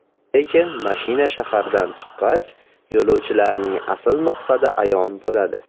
Lekin mashina shahardan chiqqach, yo‘lovchilarning asl maqsadi ayon bo‘ladi.